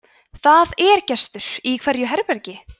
það er gestur í hverju herbergi